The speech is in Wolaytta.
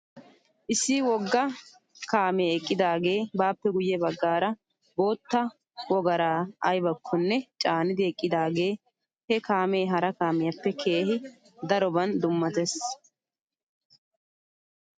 Issi wogga kaamee eqqidaagee baappe guyye baggaara boottaa woggaraa aybakkonne caanidi eqqidaagee he kaamee hara kaamiyaappe keehi daroban dummates .